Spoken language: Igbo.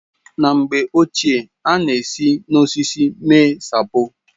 Na mgbe ochie a na-esi n'osisi mee sapo.